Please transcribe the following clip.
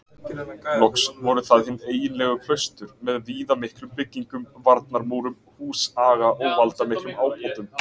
Loks voru það hin eiginlegu klaustur með viðamiklum byggingum, varnarmúrum, húsaga og valdamiklum ábótum.